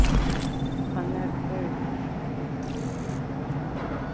Hann er dauður.